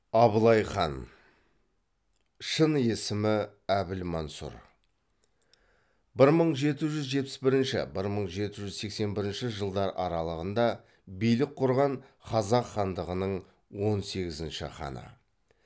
абылай хан бір мың жеті жүз жетпіс бірінші бір мың жеті жүз сексен бірінші жылдар аралығында билік құрған қазақ хандығының он сегізінші ханы